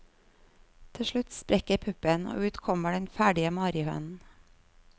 Til slutt sprekker puppen, og ut kommer den ferdige marihønen.